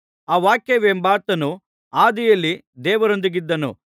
ಆ ವಾಕ್ಯವೆಂಬಾತನು ಆದಿಯಲ್ಲಿ ದೇವರೊಂದಿಗಿದ್ದನು